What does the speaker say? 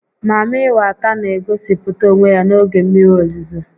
Mami weta n'egosịpụta onwe ya n'oge mmiri ozizo